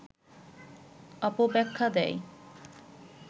অপব্যাখ্যা দেয়